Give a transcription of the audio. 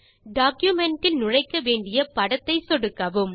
document இல் நுழைக்க வேண்டிய படத்தை சொடுக்கவும்